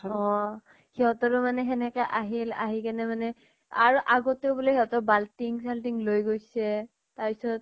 অহ সিহঁতৰ মানে সেনেকে আহিল, আহি কেনে মানে আৰু আগতো বুলে সিহঁতৰ বাল্টিং চাল্টিং লৈ গৈছে। তাৰ পিছত